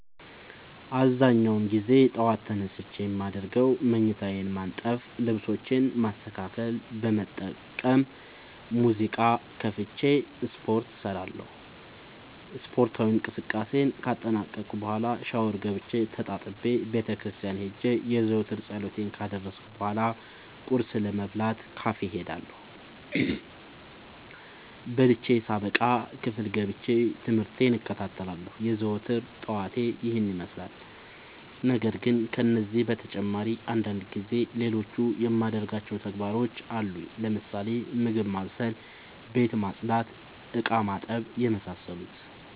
አብዛኛውን ግዜ ጠዎት ተነስቼ የማደርገው መኝታዬን ማነጠፍ ልብሶቼን ማስተካከል በመቀጠልም ሙዚቃ ከፍቼ ስፓርት እሰራለሁ ስፓርታዊ እንቅስቃሴን ካጠናቀቅኩ በኋ ሻውር ገብቼ ተጣጥቤ ቤተክርስቲያን ሄጄ የዘወትር ፀሎቴን ካደረስኩ በሏ ቁርስ ለመብላት ካፌ እሄዳለሁ። በልቼ ሳበቃ ክፍል ገብቼ። ትምህርቴን እከታተላለሁ። የዘወትር ጠዋቴ ይህን ይመስላል። ነገርግን ከነዚህ በተጨማሪ አንዳንድ ጊዜ ሌሎቹ የማደርጋቸው ተግባሮች አሉኝ ለምሳሌ፦ ምግብ ማብሰል፤ ቤት መፅዳት፤ እቃማጠብ የመሳሰሉት።